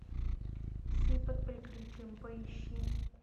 псы под прикрытием поищи